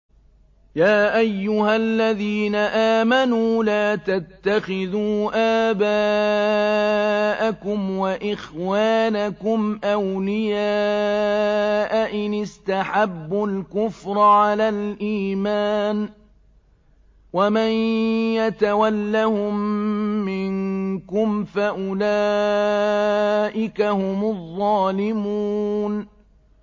يَا أَيُّهَا الَّذِينَ آمَنُوا لَا تَتَّخِذُوا آبَاءَكُمْ وَإِخْوَانَكُمْ أَوْلِيَاءَ إِنِ اسْتَحَبُّوا الْكُفْرَ عَلَى الْإِيمَانِ ۚ وَمَن يَتَوَلَّهُم مِّنكُمْ فَأُولَٰئِكَ هُمُ الظَّالِمُونَ